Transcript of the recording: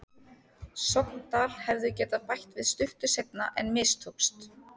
Sogndal hefðu getað bætt við stuttu seinna en mistókst.